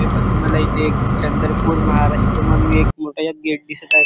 हे पहा तुम्हाला इथे एक चंद्रपुर महाराष्ट्र म्हणुन मोठ गेट दिसत आहे.